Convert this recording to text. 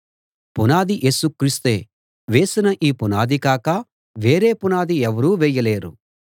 పునాది యేసు క్రీస్తే వేసిన ఈ పునాది కాక వేరే పునాది ఎవరూ వేయలేరు